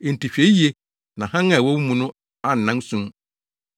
Enti hwɛ yiye na hann a ɛwɔ wo mu no annan sum.